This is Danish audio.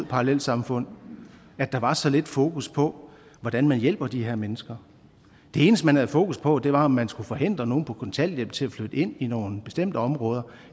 parallelsamfund at der var så lidt fokus på hvordan man hjælper de her mennesker det eneste man havde fokus på var om man skulle forhindre nogle på kontanthjælp til at flytte ind i nogle bestemte områder